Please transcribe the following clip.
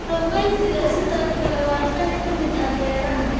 Kalluumaysigu sidoo kale waa qayb ka mid ah beeraha.